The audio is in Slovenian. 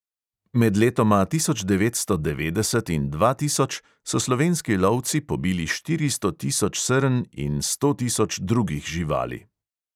Med letoma tisoč devetsto devetdeset in dva tisoč so slovenski lovci pobili štiristo tisoč srn in sto tisoč drugih živali.